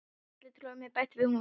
Kalli trúir mér ekki bætti hún við.